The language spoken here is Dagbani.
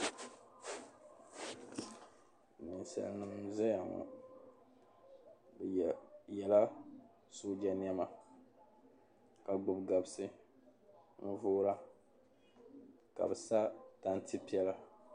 Ninsalinima n zaya ŋɔ bi yela sooja nema ka gbubi gabsi n boora ka bi sa tanti piɛla.